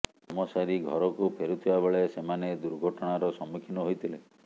କାମ ସାରି ଘରକୁ ଫେରୁଥିବା ବେଳେ ସେମାନେ ଦୁର୍ଘଟଣାର ସମ୍ମୁଖୀନ ହୋଇଥିଲେ